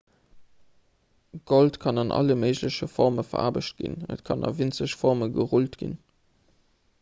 gold kann an alle méigleche forme veraarbecht ginn et kann a winzeg forme gerullt ginn